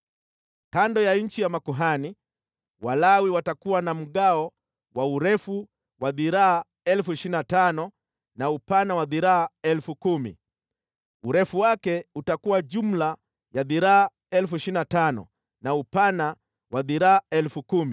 “Kando ya nchi ya makuhani, Walawi watakuwa na mgawo wa urefu wa dhiraa 25,000 na upana wa dhiraa 10,000. Urefu wake utakuwa jumla dhiraa 25,000 na upana wa dhiraa 10,000.